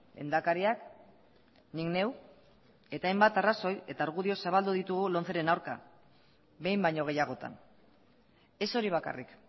lehendakariak nik neu eta hainbat arrazoi eta argudio zabaldu ditugu lomceren aurka behin baino gehiagotan ez hori bakarrik